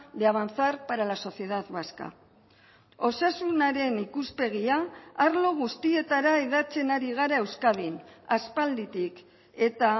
de avanzar para la sociedad vasca osasunaren ikuspegia arlo guztietara hedatzen ari gara euskadin aspalditik eta